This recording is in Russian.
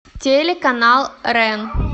телеканал рен